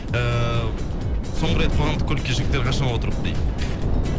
эээ соңғы рет қоғамдық көлікке жігіттер қашан отырыпты дейді